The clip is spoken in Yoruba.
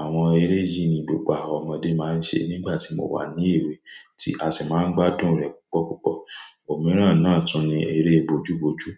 Àwon eré yìí ni gbogbo àwọn ọmọdé máa ń ṣe nígbà tí mo wà ní èwe tí a sì máa ń gbádùn rẹ̀ púpọ̀púpọ̀. Òmíràn náà tún ni eré bojúbojú.